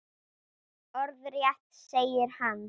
Orðrétt segir hann